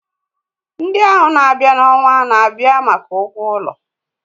Ndị ahụ na-abịa n'ọnwa na-abịa maka ụgwọ ụlọ.